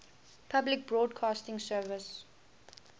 public broadcasting service